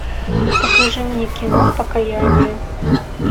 покажи мне кино покаяние